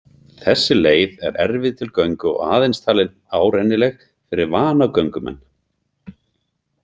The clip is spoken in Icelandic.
Þessi leið er erfið til göngu og aðeins talin árennileg fyrir vana göngumenn.